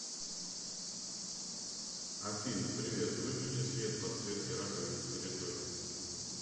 афина привет выключи свет подсветки раковины в коридоре